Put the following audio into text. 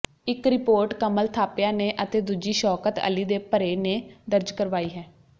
ਇੱਕ ਰਿਪੋਰਟ ਕਮਲ ਥਾਪਿਆ ਨੇ ਅਤੇ ਦੂਜੀ ਸ਼ੌਕਤ ਅਲੀ ਦੇ ਭਰੇ ਨੇ ਦਰਜ ਕਰਵਾਈ ਹੈ